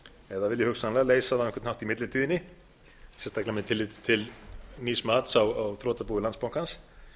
eða vilji hugsanlega leysa það á einhvern hátt í millitíðinni sérstaklega með tilliti til nýs mats á þrotabúi landsbankans